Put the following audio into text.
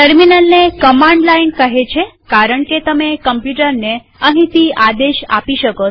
ટર્મિનલને command line કહે છે કારણકે તમે કમ્પ્યુટરને અહીંથી આદેશ આપી શકો